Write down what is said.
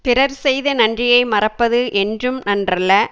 பிறர் செய்த நன்றியை மறப்பது என்றும் நன்றல்ல